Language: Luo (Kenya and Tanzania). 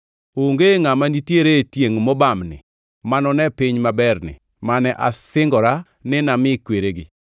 “Onge ngʼama nitiere e tiengʼ mobamni manone piny maberni mane asingora ni nami kweregi,